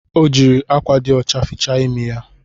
Ọ jiri akwa dị ọcha fichaa imi ya